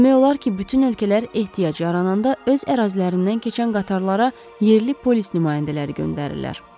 Demək olar ki, bütün ölkələr ehtiyac yarananda öz ərazilərindən keçən qatarlara yerli polis nümayəndələri göndərirlər.